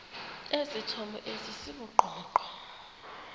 esithomo esi sibugqomogqomo